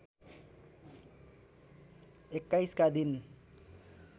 २१ का दिन